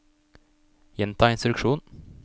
gjenta instruksjon